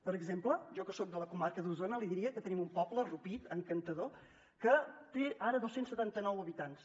per exemple jo que soc de la comarca d’osona li diria que tenim un poble rupit encantador que té ara dos cents i setanta nou habitants